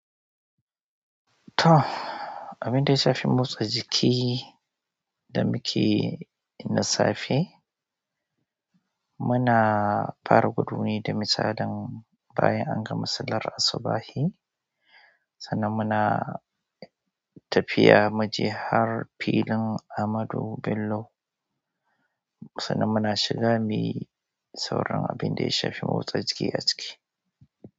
To, abin da ya shafi motsa jiki da muke na safe, muna fara gudu ne da misalin bayan an gama sallar asubahi. Sannan muna tafiya muje har filin Ahmadu Bello sannan muna shiga muyi sauran abin da ya shafi motsa jiki a ciki.